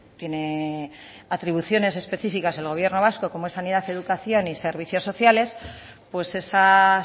tiene atribuciones específicas al gobierno vasco como es sanidad educación y servicios sociales pues esas